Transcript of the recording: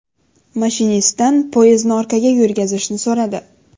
Mashinistdan poyezdni orqaga yurgazishni so‘radi.